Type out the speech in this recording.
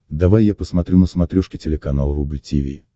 давай я посмотрю на смотрешке телеканал рубль ти ви